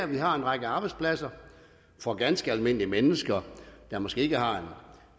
vi har en række arbejdspladser for ganske almindelige mennesker der måske ikke har en